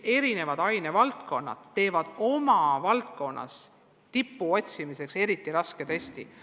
Eri ainevaldkonnad teevad oma valdkonnas tippude otsimiseks eriti raske testi.